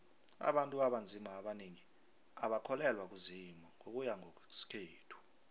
abantu abanzima abanengi abakholelwa kuzimu ngokuya ngowesintu